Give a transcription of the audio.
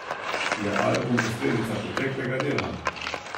Je album posledica preteklega dela?